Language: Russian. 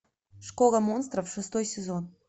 школа монстров шестой сезон